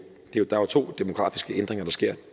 to demografiske ændringer der sker